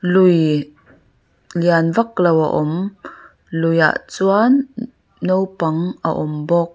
lui lian vak lo a awm luiah chuan naupang a awm bawk.